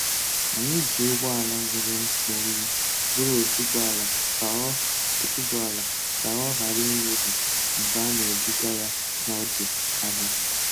Anyị ji ụgbọala nwere ntụ oyi buru otuboala ka ọ otuboala ka ọ ghara imebi mgbe a na-ebuga ya n'ọdụ ahịa.